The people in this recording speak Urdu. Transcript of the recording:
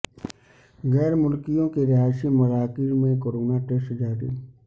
غیر ملکیوں کے رہائشی مراکز میں کورونا ٹیسٹ جاری